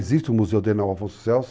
Existe o museu dele na Afonso Celso.